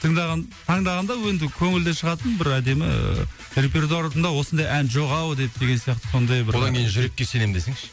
тыңдаған таңдағанда енді көңілден шығатын бір әдемі репертуарымда осындай ән жоқ ау деп деген сияқты сондай бір одан кейін жүрекке сенем десеңші